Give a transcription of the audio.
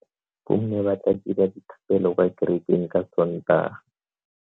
Bomme ba tla dira dithapelo kwa kerekeng ka Sontaga.